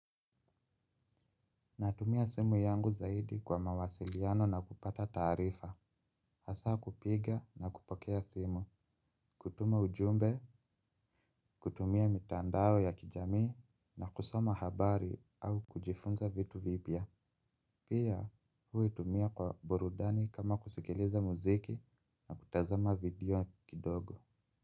Natumia simu yangu zaidi kwa mawasiliano na kupata taarifa. Hasa kupiga na kupokea simu. Kutuma ujumbe, kutumia mitandao ya kijamii na kusoma habari au kujifunza vitu vipya. Pia huitumia kwa burudani kama kusikiliza muziki na kutazama video kidogo.